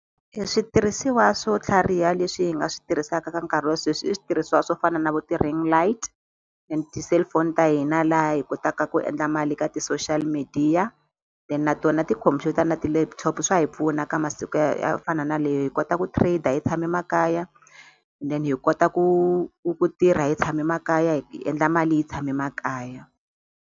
Switirhisiwa swo tlhariha leswi hi nga swi tirhisaka ka nkarhi wa sweswi i switirhisiwa swo fana na vo ti-ring light and ti-cellphone ta hina laha hi kotaka ku endla mali ka ti-social media then na tona tikhompyuta na ti-laptop swa hi pfuna ka masiku ya fana na leyi hi kota ku trader hi tshame makaya then hi kota ku ku ku tirha hi tshame makaya hi endla mali hi tshame makaya.